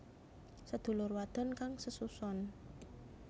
Sedulur wadon kang sesuson